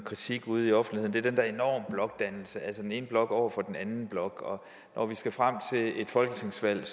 kritik ude i offentligheden er den der enorme blokdannelse altså den ene blok over for den anden blok og når vi skal frem til et folketingsvalg